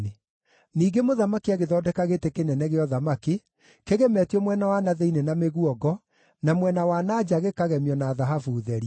Ningĩ mũthamaki agĩthondeka gĩtĩ kĩnene kĩa ũthamaki kĩgemetio mwena wa na thĩinĩ na mĩguongo, na mwena wa na nja gĩkagemio na thahabu therie.